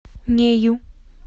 нею